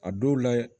A dɔw la